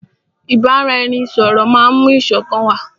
Ìbáraẹnisọ̀rọ̀ máà mú ìṣọ̀kan wá.